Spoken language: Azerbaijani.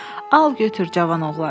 Al, götür, cavan oğlan.